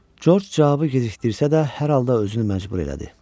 Corc cavabı gecikdirsə də hər halda özünü məcbur elədi.